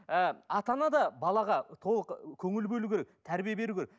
ыыы ата ана да балаға толық көңіл бөлу керек тәрбие беру керек